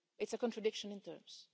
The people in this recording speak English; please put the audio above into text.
It's a contradiction in terms.